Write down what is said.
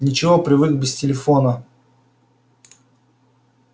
ничего привык без телефона